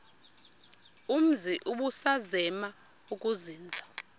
umzi ubusazema ukuzinza